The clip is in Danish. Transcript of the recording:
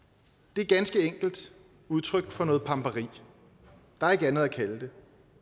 det er ganske enkelt udtryk for noget pamperi der er ikke andet at kalde det